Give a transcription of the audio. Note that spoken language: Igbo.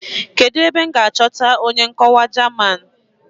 Kedụ ebe m ga-achọta onye nkọwa German?